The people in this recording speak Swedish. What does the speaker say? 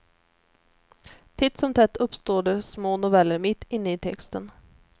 Titt som tätt uppstår det små noveller mitt inne i texten.